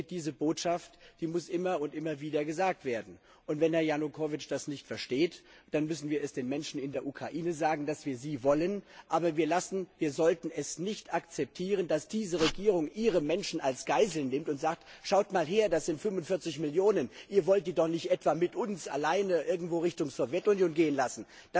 Diese Botschaft muss immer und immer wieder gesagt werden. Und wenn Herr Janukowytsch das nicht versteht, dann müssen wir den Menschen in der Ukraine sagen, dass wir sie wollen, aber wir sollten es nicht akzeptieren, dass diese Regierung ihre Menschen als Geiseln nimmt und sagt, schaut mal her, da sind 45 Millionen, ihr wollt die doch nicht etwa mit uns alleine in Richtung Sowjetunion gehen lassen.